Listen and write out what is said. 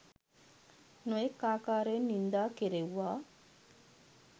නොයෙක් ආකාරයෙන් නින්දා කෙරෙව්වා